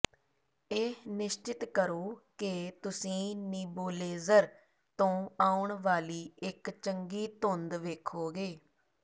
ਇਹ ਨਿਸ਼ਚਤ ਕਰੋ ਕਿ ਤੁਸੀਂ ਨੀਬੋਲੇਜ਼ਰ ਤੋਂ ਆਉਣ ਵਾਲੀ ਇੱਕ ਚੰਗੀ ਧੁੰਦ ਵੇਖੋਗੇ